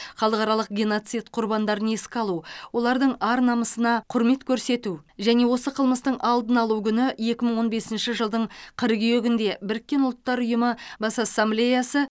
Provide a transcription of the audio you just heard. халықаралық геноцид құрбандарын еске алу олардың ар намысына құрмет көрсету және осы қылмыстың алдын алу күні екі мың он бесінші жылдың қыркүйегінде біріккен ұлттар ұйымы бас ассамблеясы